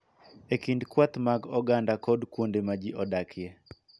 E kind kweth mag oganda kod kuonde ma ji odakie.